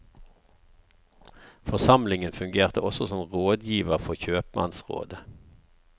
Forsamlingen fungerte også som rådgiver for kjøpmannsrådet.